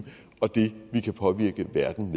og det vi kan påvirke verden